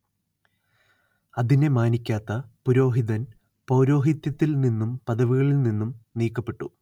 അതിനെ മാനിക്കാത്ത പുരോഹിതൻ പൗരോഹിത്യത്തിൽ നിന്നും പദവികളിൽ നിന്നും നീക്കപ്പെട്ടു